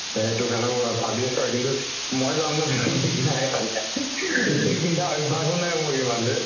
তেনেকুৱা ভাবি আছো আৰু কিন্তু মই যাম ন নাই ঠিক নাই তেনেকে । ধুতি পিন্ধা অভ্য়স ও নাই ইমান বে।